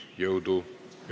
Jõudu!